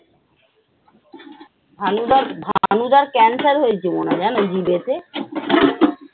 ভানুদার ভানুদার cancer হয়েছে জানো মনে হয় জিভ এ তে।